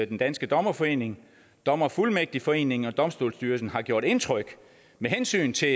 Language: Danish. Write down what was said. den danske dommerforening dommerfuldmægtigforeningen og domstolsstyrelsen har gjort indtryk med hensyn til